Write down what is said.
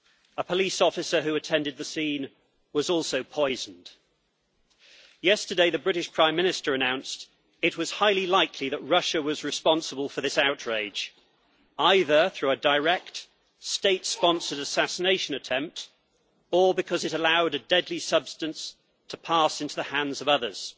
A police officer who attended the scene was also poisoned. Yesterday, the British Prime Minister announced it was highly likely that Russia was responsible for this outrage, either through a direct state-sponsored assassination attempt or because it allowed a deadly substance to pass into the hands of others.